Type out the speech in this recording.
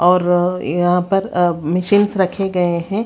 और यहां पर अ मशीनस रखे गए हैं.